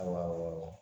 Ayiwa